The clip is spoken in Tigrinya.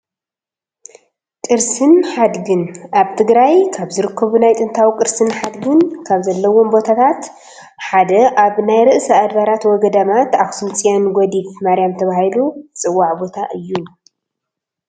ቅርስን ሓድግን ፡- ኣብ ትግራይ ካብ ዝርከቡ ናይ ጥንታዊ ቅርስን ሓድግን ካብ ዘለዎም ቦታታት ሓደ ኣብ ናይ ርእሰ ኣድባራት ወ-ገዳማት ኣክሱም ፅዮን ጎዲፍ ማርያም ተባሂሉ ዝፅዋዕ ቦታ እዩ፡፡